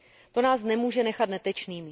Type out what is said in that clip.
To nás nemůže nechat netečnými.